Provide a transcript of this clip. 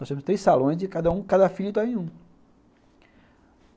Nós temos três salões e cada um, cada filho está em um.